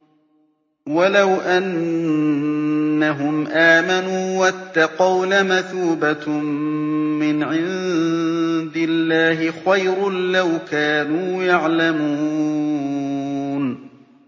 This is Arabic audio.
وَلَوْ أَنَّهُمْ آمَنُوا وَاتَّقَوْا لَمَثُوبَةٌ مِّنْ عِندِ اللَّهِ خَيْرٌ ۖ لَّوْ كَانُوا يَعْلَمُونَ